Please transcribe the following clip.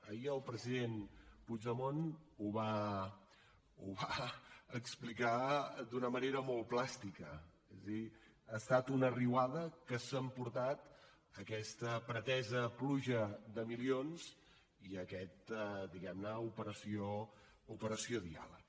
ahir el president puigdemont ho va explicar d’una manera molt plàstica és a dir ha estat una riuada que s’ha emportat aquesta pretesa pluja de milions i aquesta diguem ne operació diàleg